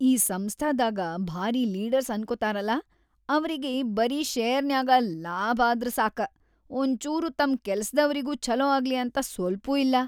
ಈ ಸಂಸ್ಥಾದಾಗ ಭಾರೀ ಲೀಡರ್ಸ್‌ ಅನ್ಕೋತಾರಲಾ ಅವ್ರಿಗಿ ಬರೀ ಷೇರ್‌ನ್ಯಾಗ ಲಾಭ್‌ ಆದ್ರ ಸಾಕ, ಒಂಚೂರು ತಮ್‌ ಕೆಲ್ಸದವ್ರಿಗೂ ಛಲೋ ಆಗ್ಲಿ ಅಂತ ಸ್ಪಲ್ಪೂ ಇಲ್ಲಾ.